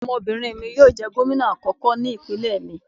Ọmọbinrin mi yoo jẹ gomina obinrin akọkọ ni ipinlẹ mi